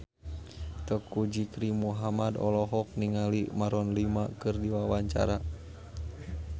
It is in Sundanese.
Teuku Rizky Muhammad olohok ningali Maroon 5 keur diwawancara